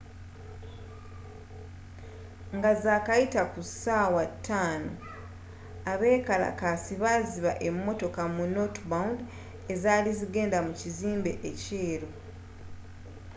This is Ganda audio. nga zakayita ku ssaawa 11:00 abeekalakaasi baziba emmotoka mu northbound ezaali zigenda mu kizimbe ekyeru